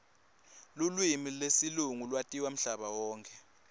lulwimi lesilungu latiwa mhlaba wonkhe